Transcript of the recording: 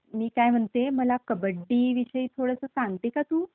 मी काय म्हणते, मला कबड्डीविषयी थोडं सांगते का तू?